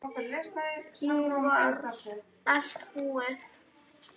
Nú var allt búið.